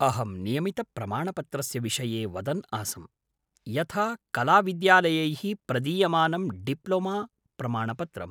अहं नियमितप्रमाणपत्रस्य विषये वदन् आसम्, यथा कलाविद्यालयैः प्रदीयमानं डिप्लोमा प्रमाणपत्रम्।